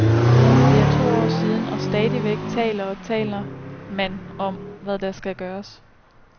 Det er to år siden, og stadigvæk taler og taler man om, hvad der skal gøres.